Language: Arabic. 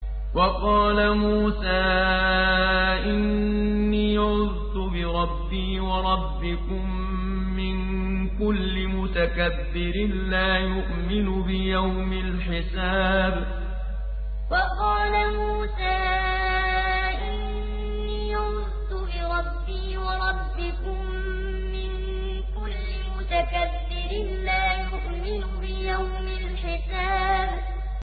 وَقَالَ مُوسَىٰ إِنِّي عُذْتُ بِرَبِّي وَرَبِّكُم مِّن كُلِّ مُتَكَبِّرٍ لَّا يُؤْمِنُ بِيَوْمِ الْحِسَابِ وَقَالَ مُوسَىٰ إِنِّي عُذْتُ بِرَبِّي وَرَبِّكُم مِّن كُلِّ مُتَكَبِّرٍ لَّا يُؤْمِنُ بِيَوْمِ الْحِسَابِ